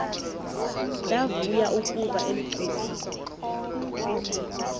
ndavuya ukuva ulcuba